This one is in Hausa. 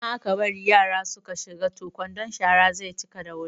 Idan aka bari yara su ka shiga toh kwandon sharan ze cika da wuri